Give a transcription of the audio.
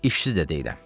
İşsiz də deyiləm.